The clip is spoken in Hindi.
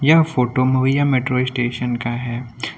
यह फोटो मवैया मेट्रो स्टेशन का है।